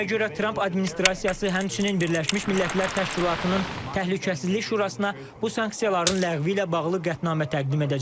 Bildiyimə görə, Tramp administrasiyası həmçinin Birləşmiş Millətlər Təşkilatının Təhlükəsizlik Şurasına bu sanksiyaların ləğvi ilə bağlı qətnamə təqdim edəcək.